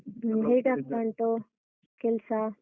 ಹ್ಮ ಹೇಗಾಗ್ತಾ ಉಂಟು, ಕೆಲ್ಸ?